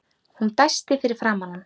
Hún dæsti fyrir framan hann.